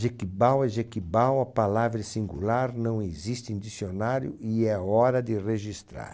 Jequibau é Jequibau, a palavra é singular, não existe em dicionário e é hora de registrar.